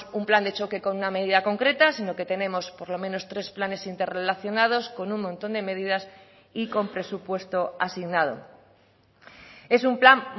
un plan de choque con una medida concreta sino que tenemos por lo menos tres planes interrelacionados con un montón de medidas y con presupuesto asignado es un plan